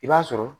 I b'a sɔrɔ